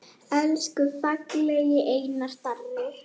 Elsku fallegi Einar Darri.